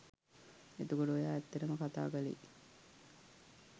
එතකොට ඔයා ඇත්තටම කතා කළේ